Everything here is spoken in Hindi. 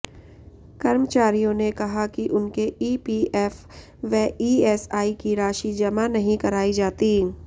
कर्मचारियों ने कहा कि उनके ईपीएफ व ईएसआई की राशि जमा नहीं कराई जाती